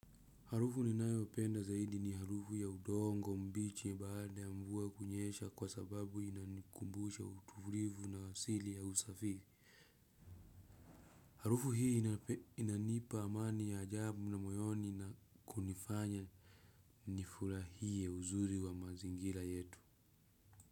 Harufu ninayopenda zaidi ni harufu ya udongo mbichi baada ya mvua kunyesha kwa sababu inanikumbusha uturivu na asili ya usafi. Harufu hii inanipa amani ya ajabu na moyoni na kunifanya nifurahie uzuri wa mazingira yetu.